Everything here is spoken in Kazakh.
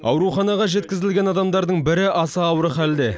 ауруханаға жеткізілген адамдардың бірі аса ауыр халде